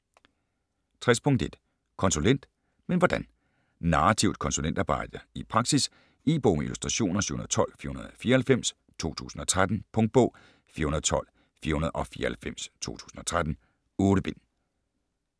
60.1 Konsulent - men hvordan? Narrativt konsulentarbejde i praksis. E-bog med illustrationer 712494 2013. Punktbog 412494 2013. 8 bind.